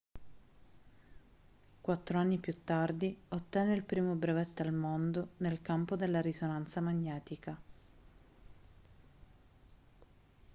quattro anni più tardi ottenne il primo brevetto al mondo nel campo della risonanza magnetica